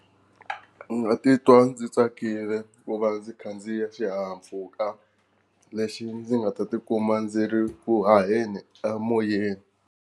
Ndzi nga titwa ndzi tsakile ku va ndzi khandziya xihahampfhuka lexi ndzi nga ta tikuma ndzi ri ku haheni emoyeni.